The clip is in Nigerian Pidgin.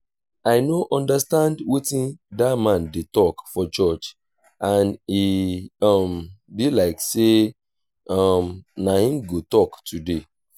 i no understand wetin dat man dey talk for church and e um be like say um na him go talk today